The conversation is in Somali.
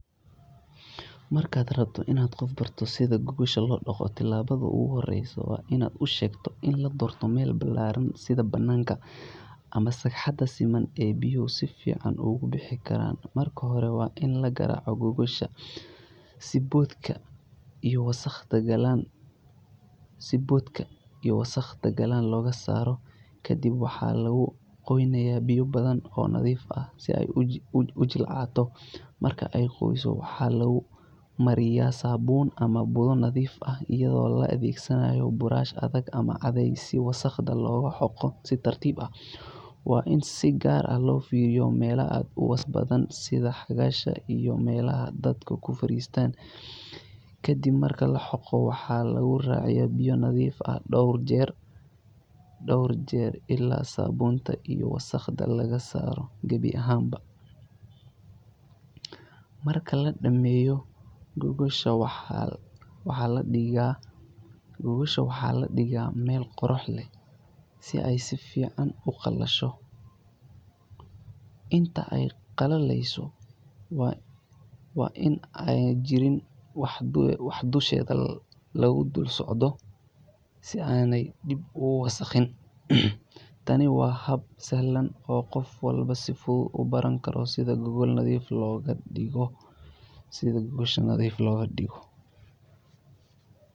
Markaad rabto inaad qof barato sida gogosha loo dhaqo, talaabada ugu horreysa waa inaad u sheegto in la doorto meel ballaaran sida bannaanka ama sagxadda siman ee biyuhu si fiican uga bixi karaan. Marka hore waa in la garaaco gogosha si boodhka iyo wasakhda qallalan looga saaro. Kadib waxaa lagu qoynayaa biyo badan oo nadiif ah si ay u jilcato. Marka ay qooyso, waxaa lagu mariyaa saabuun ama budo nadiifin ah iyadoo la adeegsanayo buraash adag ama caday si wasakhda loogu xoqo si tartiib ah. Waa in si gaar ah loo fiiro meelo aad u wasakh badan sida xagasha iyo meelaha dadku ku fariisto. Kadib marka la xoqo, waxaa lagu raaciyaa biyo nadiif ah dhowr jeer ilaa saabuunta iyo wasakhda laga saaro gabi ahaanba. Marka la dhammeeyo, gogosha waxaa la dhigaa meel qorrax leh si ay si fiican u qalasho. Inta ay qalalayso waa in aanay jirin wax dusheeda lagu dul socdo si aanay dib ugu wasakhayn. Tani waa hab sahlan oo qof walba si fudud ugu baran karo sida gogol nadiif loogu dhaqo.